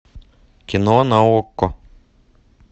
кино на окко